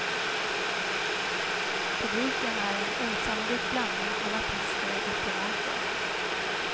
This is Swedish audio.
Publiken är en osannolik blandning av artister och diplomater.